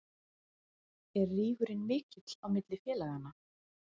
Er rígurinn mikill á milli félaganna?